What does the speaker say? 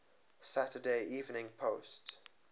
saturday evening post